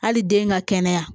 Hali den ka kɛnɛya